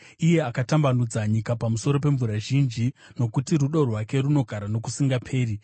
iye akatambanudza nyika pamusoro pemvura zhinji, Nokuti rudo rwake runogara nokusingaperi.